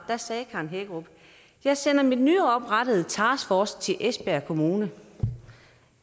var sagde karen hækkerup jeg sender min nyoprettede taskforce til esbjerg kommune